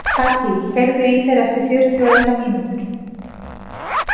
Katý, heyrðu í mér eftir fjörutíu og eina mínútur.